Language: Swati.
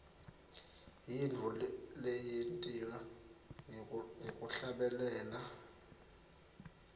yintfo leyentiwa ngekuhlabelela